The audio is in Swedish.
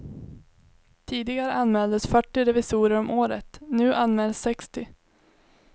Tidigare anmäldes fyrtio revisorer om året, nu anmäls sextio.